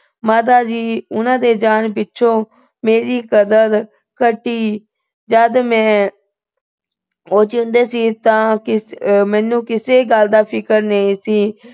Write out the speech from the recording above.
ਮਾਤਾ ਜੀ ਉਹਨਾਂ ਦੇ ਜਾਣ ਪਿੱਛੋਂ ਮੇਰੀ ਕਦਰ ਘਟੀ। ਜਦ ਮੈਂ ਉਹ ਜਿਉਂਦੇ ਸੀ, ਤਾਂ ਮੈਨੂੰ ਕਿਸੇ ਗੱਲ ਦਾ ਫਿਕਰ ਨਹੀਂ ਸੀ।